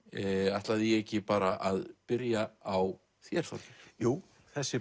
ætlaði ég ekki bara að byrja á þér Þorgeir jú þessi